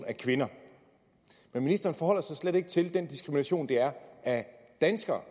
af kvinder men ministeren forholder sig slet ikke til er en diskrimination af danskere